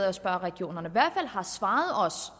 at spørge regionerne han svarede os